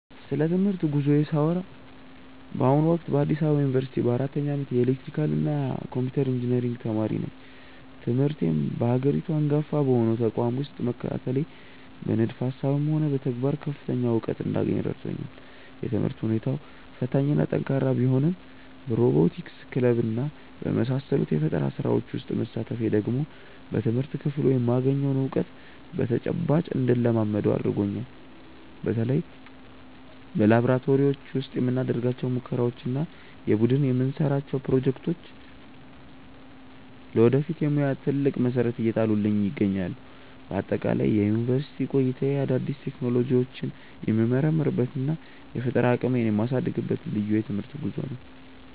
ስለ ትምህርት ጉዞዬ ሳወራ በአሁኑ ወቅት በአዲስ አበባ ዩኒቨርሲቲ በአራተኛ ዓመት የኤሌክትሪካልና ኮምፒውተር ኢንጂነሪንግ ተማሪ ነኝ። ትምህርቴን በሀገሪቱ አንጋፋ በሆነው ተቋም ውስጥ መከታተሌ በንድፈ ሃሳብም ሆነ በተግባር ከፍተኛ እውቀት እንዳገኝ ረድቶኛል። የትምህርት ሁኔታው ፈታኝና ጠንካራ ቢሆንም በሮቦቲክስ ክለብና በመሳሰሉት የፈጠራ ስራዎች ውስጥ መሳተፌ ደግሞ በትምህርት ክፍሉ የማገኘውን እውቀት በተጨባጭ እንድለማመደው አድርጎኛል። በተለይ በላብራቶሪዎች ውስጥ የምናደርጋቸው ሙከራዎችና የቡድን የምንሰራቸው ፕሮጀክቶች ለወደፊት የሙያ ትልቅ መሰረት እየጣሉልኝ ይገኛሉ። በአጠቃላይ የዩኒቨርሲቲ ቆይታዬ አዳዲስ ቴክኖሎጂዎችን የምመረምርበትና የፈጠራ አቅሜን የማሳድግበት ልዩ የትምህርት ጉዞ ነው።